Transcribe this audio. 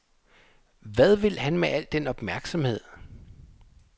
Hvad vil han med al den opmærksomhed?